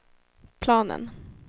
planen